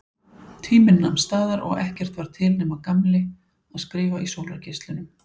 Tíminn nam staðar og ekkert var til nema Gamli að skrifa í sólargeislunum.